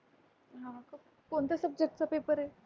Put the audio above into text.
हां का. कोणत्या Subject चा पेपर आहे?